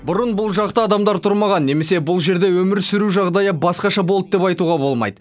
бұрын бұл жақта адамдар тұрмаған немесе бұл жерде өмір сүру жағдайы басқаша болды деп айтуға болмайды